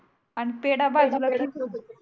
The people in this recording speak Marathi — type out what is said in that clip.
आणि पेडा वाजुला ठेवत होते